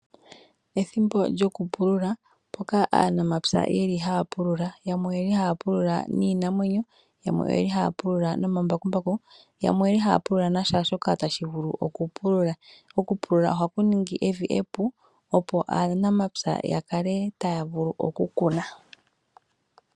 Ethimbo lyokupulula mpoka aanamapya yeli haya pulula, yamwe oyeli haya pulula niimamwenyo, yamwe oyeli haya pulula nomambakumbaku, yamwe oyeli haya pulula naashoka tashi vulu oku pulula. Okupulula ohaku ningi evi e pu opo aanamapya taya vulu oku kuna.